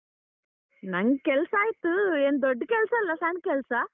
ನಂಗ್ ಕೆಲ್ಸ ಆಯ್ತು ಏನ್ ದೊಡ್ಡ್ ಕೆಲ್ಸ ಅಲ್ ಸಣ್ಣ ಕೆಲ್ಸ.